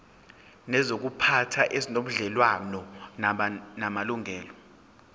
nezokuziphatha ezinobudlelwano namalungelo